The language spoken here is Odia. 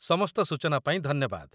ସମସ୍ତ ସୂଚନା ପାଇଁ ଧନ୍ୟବାଦ।